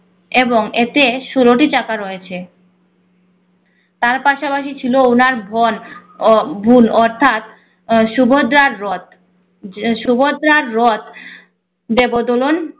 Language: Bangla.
এবং এতে ষোলোটি চাকা রয়েছে তার পাশাপাশি ছিল ওনার বোন ও ভুল অর্থাৎ সুভদ্রার রথ। সুভদ্রার রথ দেব দোলন